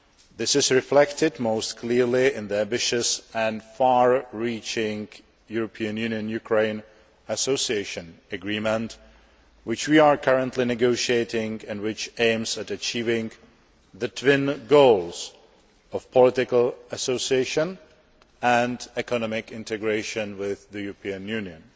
This is reflected most clearly in the ambitious and far reaching European Union Ukraine Association Agreement which we are currently negotiating, and which aims at achieving the twin goals of political association and economic integration with the European Union.